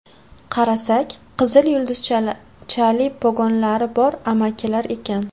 Qarasak, qizil yulduzchali pogonlari bor amakilar ekan.